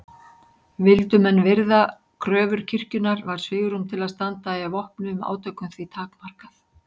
Vildu menn virða kröfur kirkjunnar var svigrúm til að standa í vopnuðum átökum því takmarkað.